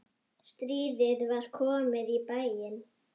Stríðið var komið í bæinn!